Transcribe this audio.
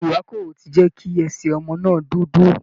Ìrákòrò ti jẹ́ kí ẹsẹ̀ ọmọ náà dúdú